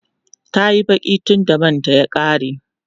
tayi Baki tunda manta ya ƙare